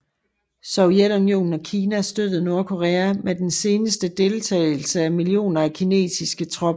Sovjetunionen og Kina støttede Nordkorea med den senere deltagelse af millioner af kinesiske tropper